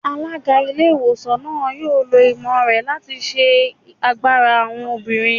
Alága ilé ìwòsàn náà yóò lò ìmọ̀ rẹ̀ láti ṣe agbára àwọn obìnrin